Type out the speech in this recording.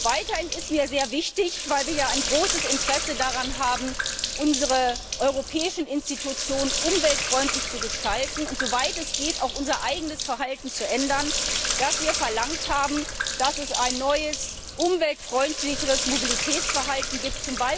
Weiterhin ist mir sehr wichtig weil wir ja ein großes Interesse daran haben, unsere europäischen Institutionen umweltfreundlich zu gestalten und, soweit es geht, auch unser eigenes Verhalten zu ändern dass wir verlangt haben, dass es ein neues, umweltfreundlicheres Mobilitätsverhalten gibt.